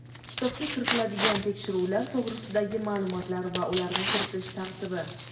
kitobga kiritiladigan tekshiruvlar to‘g‘risidagi maʼlumotlar va ularni kiritish tartibi;.